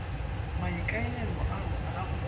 maikaelelo a rona a go